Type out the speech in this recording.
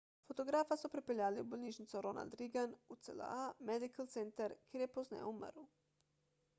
fotografa so prepeljali v bolnišnico ronald reagan ucla medical center kjer je pozneje umrl